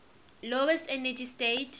lowest energy state